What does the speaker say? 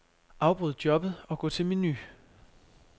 Afbryd jobbet og gå til menu.